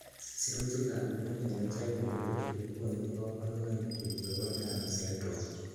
Sirutikab Human Phenotype Ontology kokonu koborunoikchu chebo Turner syndrome.